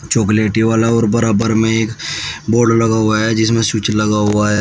चॉकलेटी वाला और बराबर में एक बोर्ड लगा हुआ है जिसमें स्विच लगा हुआ है।